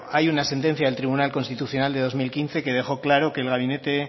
hay una sentencia del tribunal constitucional de dos mil quince que dejó claro que el gabinete